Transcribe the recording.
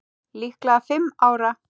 Líklega fimm ára.